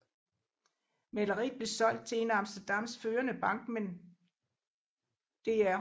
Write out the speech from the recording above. Maleriet blev solgt til en af Amsterdams førende bankmænd dr